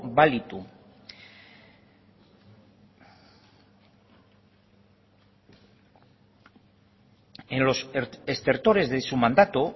balitu en los estertores de su mandato